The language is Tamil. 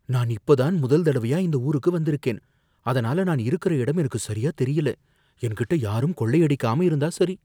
நான் இப்பதான் முதல் தடவையா இந்த ஊருக்கு வந்திருக்கேன், அதனால நான் இருக்கற இடம் எனக்கு சரியா தெரியல. என்கிட்ட யாரும் கொள்ளை அடிக்காம இருந்தா சரி.